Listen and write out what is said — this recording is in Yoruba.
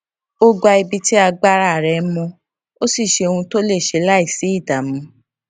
ó gba ibi tí agbára rẹ mọ ó sì n ṣe ohun tí ó lè ṣe láìsí ìdààmú